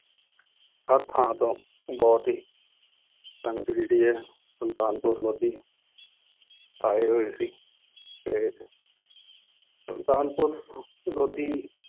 ਹਰ ਥਾਂ ਤੋਂ ਬਹੁਤ ਹੀ ਸੰਗਤ ਜਿਹੜੀ ਹੈ ਸੁਲਤਾਨਪੁਰ ਲੋਧੀ ਆਏ ਹੋਏ ਸੀ ਤੇ ਸੁਲਤਾਨਪੁਰ ਲੋਧੀ